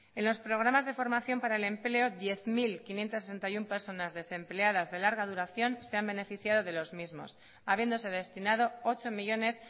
en los programas de formación para el empleo diez mil quinientos sesenta y uno personas desempleadas de larga duración se han beneficiado de los mismos habiéndose destinado ocho millónes